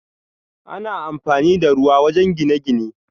Ana amfani da ruwa wajen gine-gine.